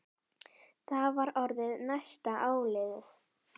Það var orðið næsta áliðið.